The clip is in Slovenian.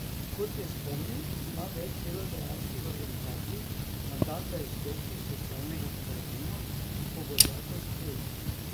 Kot je spomnil, ima več delodajalskih organizacij mandat, da izstopi iz socialnega sporazuma, ko bo zakon sprejet.